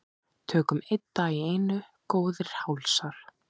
Tökum einn dag í einu góðir hálsar.